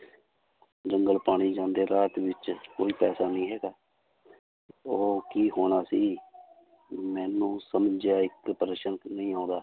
ਜੰਗਲ ਪਾਣੀ ਜਾਂਦੇ ਰਾਤ ਵਿੱਚ ਕੋਈ ਪੈਸਾ ਨੀ ਹੈਗਾ ਉਹ ਕੀ ਹੋਣਾ ਸੀ ਮੈਨੂੰ ਸਮਝਿਆ ਇੱਕ ਨਹੀਂ ਆਉਂਦਾ।